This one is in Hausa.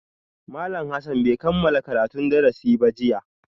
Malam Hassan bai kammala karatun darasi ba jiya